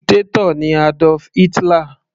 Dictator ni Adolf Hitler.